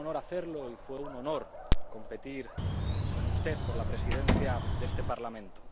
Fue un honor hacerlo y fue un honor competir con usted por la presidencia de este Parlamento.